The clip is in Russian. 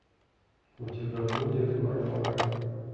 у тебя будет варвара